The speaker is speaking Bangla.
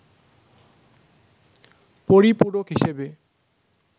পরিপূরক হিসেবে